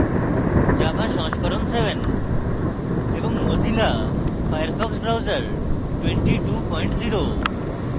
java সংস্করণ 7 এবং mozilla Firefox browser 220